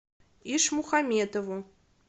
ишмухаметову